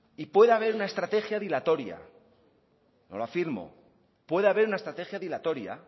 y puede haber una estrategia dilatoria no lo afirmo puede haber una estrategia dilatoria